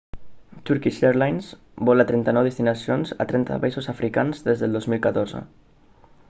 turkish airlines vola a 39 destinacions a 30 països africans des del 2014